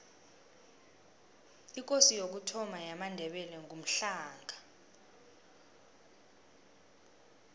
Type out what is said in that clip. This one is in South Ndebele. ikosi yokuthoma yamandebele ngumhlanga